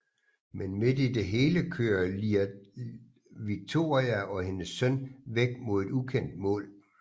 Men midt i det hele kører Iyad Victoria og hendes søn væk mod et ukendt mål